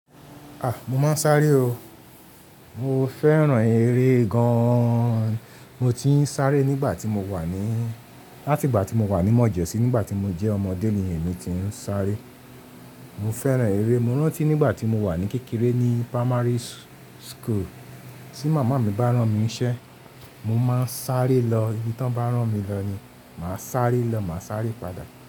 A! Mo máa ń sáré o. Mo fẹ́ràn eré gan an. Mo ti ń sáré nígbà tí mo wà ní, láti ìgbà tí mo wà ní Mọ́je sí nígbà tí mo jẹ́ ọmọdé ni èmi ti ń sáré. Mo fẹ́ràn eré. Mo rántí nígbà tí mo wà ní kékeré ní primary school tí màmá mi bá rán mi iṣẹ́, mo máa ń sáré lọ. Ibi tí wọ́n bá rán mi lọ ni màá sáré lọ, màá sáré padà.